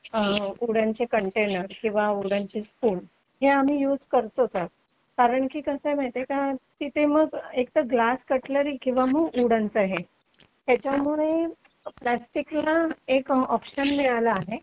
wooden चे container किंवा वूडनचे स्पून हे आम्ही युज करतोच कारण की कसे माहितीये का तिथे मग एक तर ग्लास कटलरी किंवा मग वूडन आहे हे याच्यामुळे प्लास्टिकला एक ऑप्शन मिळाला आहे